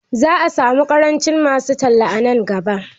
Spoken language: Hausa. Za'a samu ƙarancin masu talla nan gaba.